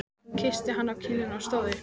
Hún kyssti hann á kinnina og stóð upp.